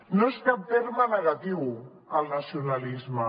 no és cap terme negatiu el nacionalisme